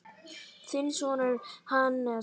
Þinn sonur, Hannes.